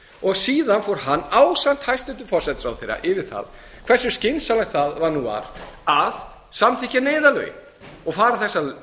og síðan fór hann ásamt hæstvirtur forsætisráðherra yfir það hversu skynsamlegt það var að samþykkja neyðarlögin og fara þessa